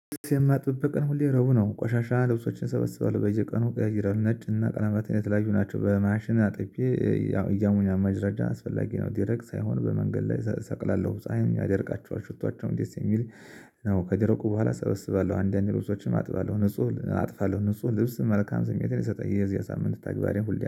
ልብስ የማጥበበት ቀን ሁሌ ረቡዕ ነው ቆሻሻ ልብሶችን ሰበስባለሁ በየቀኑ ቀያይራለሁ ነጭና ቀለማት የተለያዩ ናቸው በማሽን አጥቤ። ያው ማድረቅ አስፈላጊ ነው ደረቅ ሳይሆን በመንገድ ላይ ሰቅላለሁ ፀሀይን ደርቃቸዋል ሽቶዋቸዉም ደስ የሚል ነው። ከደረቁ በኋላ እሰበስባለሁ አንዳንድ ልብሶችን አጥፋለሁ ንጹህ አጥፋለሁ ንጹህ ልብስ መልካም ስሜትን ይሰጣል። የዚህ ሳምንት ተግባሬን ሁሌ